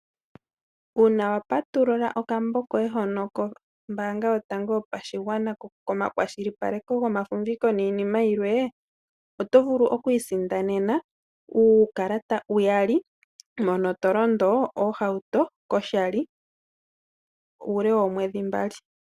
Uuna wa patulula okambo koye hono kombaanga yotango yopashigwana komakwashilipaleko gomafumviko niinima yilwe, oto vulu oku isindanena uukalata uyali mono to londo oohauto koshali uule woomwedhi mbali.